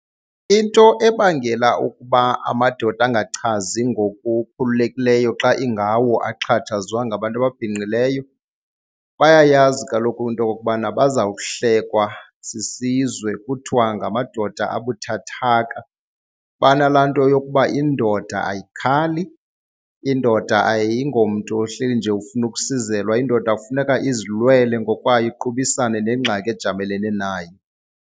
Into ebangela ukuba amadoda angachazi ngokukhululekileyo xa ingawo axhatshazwa ngabantu ababhinqileyo, bayayazi kaloku into okokubana bazawuhlekwa sisizwe kuthiwa ngamadoda abuthathaka. Banalaa nto yokuba indoda ayikhali, indoda ayingomntu ohleli nje ufuna ukusizelwa, indoda kufuneka izilwele ngokwayo iqubisane nengxaki ejamelene nayo.